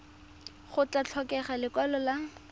go tla tlhokega lekwalo la